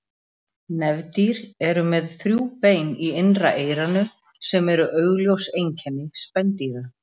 Nefdýr eru með þrjú bein í innra eyranu sem eru augljós einkenni spendýra.